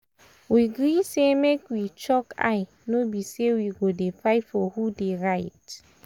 we gree say make we chook eye no be say we go dey fight for who dey right.